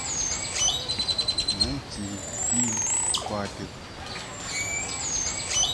найти фильм папик